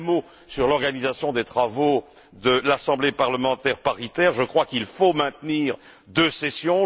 Un mot sur l'organisation des travaux de l'Assemblée parlementaire paritaire je crois qu'il faut maintenir deux sessions.